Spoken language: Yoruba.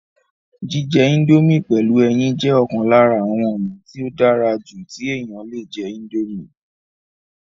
jíjẹ índómì pẹ̀lú ẹyin jẹ́ ọ̀kan lára àwọn ònà tí ó dára jù tí èèyàn le jẹ́ índómì